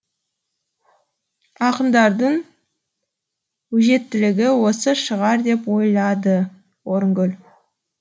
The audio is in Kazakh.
ақындардың өжеттілігі осы шығар деп ойлады орынгүл